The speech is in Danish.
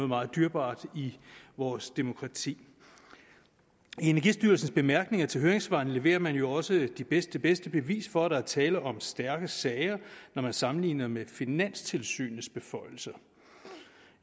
meget dyrebart i vores demokrati i energistyrelsens bemærkninger til høringssvarene leverer man jo også det bedste bedste bevis for at der er tale om stærke sager når man sammenligner med finanstilsynets beføjelser